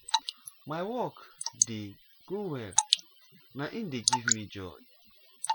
my work dey go well na im dey give me small joy